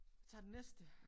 Tager den næste